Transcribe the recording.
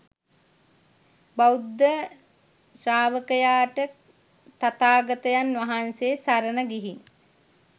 බෞද්ධ ශ්‍රාවකයාට තථාගතයන් වහන්සේ සරණ ගිහින්